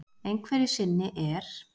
Einhverju sinni er